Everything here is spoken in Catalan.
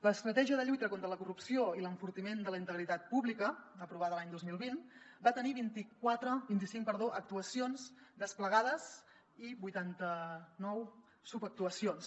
l’estratègia de lluita contra la corrupció i l’enfortiment de la integritat pública aprovada l’any dos mil vint va tenir vint i cinc actuacions desplegades i vuitanta nou subactuacions